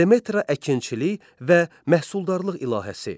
Demetra əkinçilik və məhsuldarlıq ilahəsi.